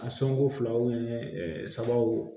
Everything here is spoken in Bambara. A sɔngɔ filaw ni sabaw